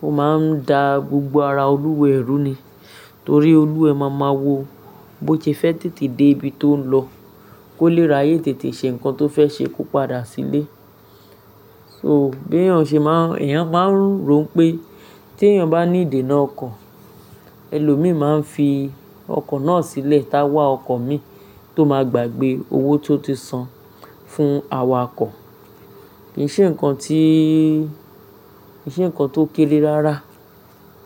ó máa ń da gbogbo ara olúwẹ̀ rú ni. Torí olúwẹ̀ máa ma wo bó ṣe fẹ́ tètè dé ibi tó ń lọ, kó lè ra yé tètè ṣe nǹkan tó fẹ́ ṣe kó padà sílé. So bí èyàn ṣe máa, èyàn máa ń rò pé tí èyàn bá ní ìdènà ọkọ̀, ẹlòmíì máa ń fi ọkọ̀ náà sílẹ̀ táwà ọkọ̀ mi tó máa gbàgbé owó tó ti san fún awakọ̀. Kì í ṣe nǹkan tí, kì í ṣe nǹkan tó kéré rárá.